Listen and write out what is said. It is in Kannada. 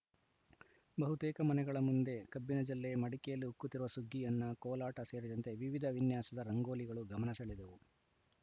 ಬಹುತೇಕ ಮನೆಗಳ ಮುಂದೆ ಕಬ್ಬಿನ ಜಲ್ಲೆ ಮಡಿಕೆಯಲ್ಲಿ ಉಕ್ಕುತ್ತಿರುವ ಸುಗ್ಗಿ ಅನ್ನ ಕೋಲಾಟ ಸೇರಿದಂತೆ ವಿವಿಧ ವಿನ್ಯಾಸದ ರಂಗೋಲಿಗಳು ಗಮನ ಸೆಳೆದವು